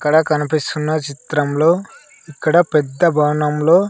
ఇక్కడ కనిపిస్తున్న చిత్రంలో ఇక్కడ పెద్ద భవనం లో.